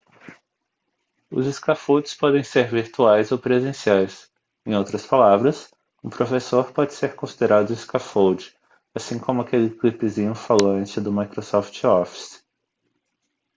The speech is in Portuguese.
os scaffolds podem ser virtuais ou presenciais em outras palavras um professor pode ser considerado um scaffold assim como aquele clipezinho falante do microsoft office